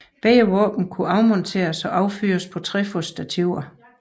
Begge våben kunne afmonteres og affyres fra trefodsstativer